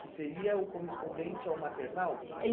Que seria o correspondente ao maternal?